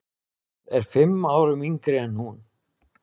Hann er fimm árum yngri en hún.